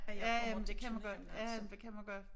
Ja men det kan man godt ja ja men det kan man godt